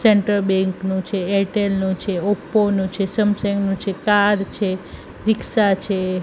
Central bank નું છે એરટેલ નું છે ઓપ્પો નું છે સમસેંગ નું છે કાર છે રીક્ષા છે.